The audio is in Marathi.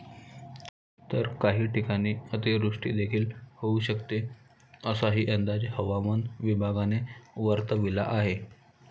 तर काही ठिकाणी अतिवृष्टीदेखील होऊ शकते, असाही अंदाज हवामान विभागाने वर्तविला आहे.